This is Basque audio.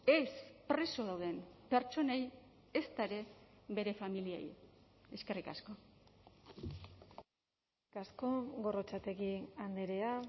ez preso dauden pertsonei ezta ere bere familiei eskerrik asko eskerrik asko gorrotxategi andrea